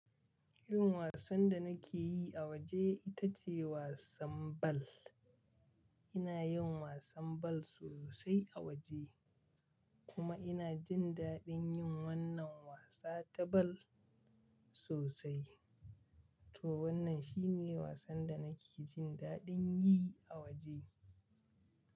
Irin wasan da nake yi a waje ita ce wasan ball. Ina yin wasan bal sosai a waje kuma ina jin daɗin yin wannan wasa ta bal sosai. To wannan shi ne wasan da nake jin daɗin yi a waje.